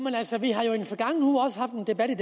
er